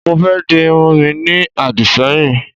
Mo fé di irun mi ní àdìṣẹ́yìn